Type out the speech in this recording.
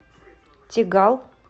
тегал